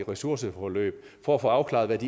ressourceforløb for at få afklaret hvad